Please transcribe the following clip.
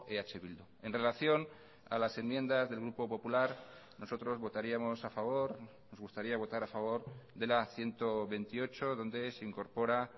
eh bildu en relación a las enmiendas del grupo popular nosotros votaríamos a favor nos gustaría votar a favor de la ciento veintiocho donde se incorpora